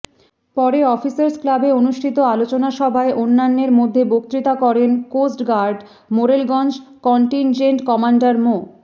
পরে অফিসার্স ক্লাবে অনুষ্ঠিত আলোচনাসভায় অন্যান্যের মধ্যে বক্তৃতা করেন coast guard Morelganj contingent commander মো